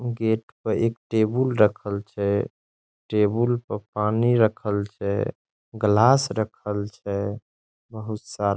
gate पर एक table रखल छै | टेबूल पर पानी रखल छै | ग्लास रखल छै | बहुत सारा --